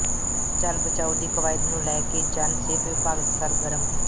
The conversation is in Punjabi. ਜਲ ਬਚਾਓ ਦੀ ਕਵਾਇਦ ਨੂੰ ਲੈ ਕੇ ਜਨ ਸਿਹਤ ਵਿਭਾਗ ਸਰਗਰਮ